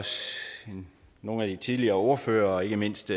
os nogle af de tidligere ordføreres og ikke mindst